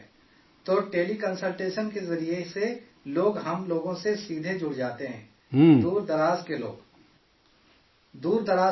تو teleconsultation کے ذریعے لوگ ہم لوگ سے سیدھے جڑ جاتے ہیں، دور دراز کے لوگ